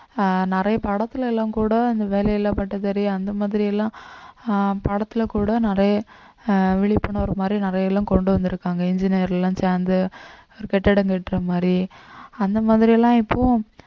அஹ் நிறைய படத்துல எல்லாம் கூட இந்த வேலையில்லா பட்டதாரி அந்த மாதிரி எல்லாம் ஆஹ் படத்துல கூட நிறைய ஆஹ் விழிப்புணர்வு மாதிரி நிறைய எல்லாம் கொண்டு வந்திருக்காங்க engineer எல்லாம் சேர்ந்து ஒரு கட்டடம் கட்டுற மாதிரி அந்த மாதிரி எல்லாம் இப்பவும்